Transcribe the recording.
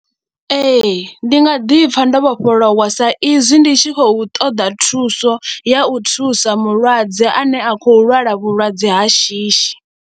Ee ndi nga ḓi pfha ndo vhofholowa sa izwi ndi tshi khou ṱoḓa thuso ya u thusa mulwadze ane a khou lwala vhulwadze ha shishi.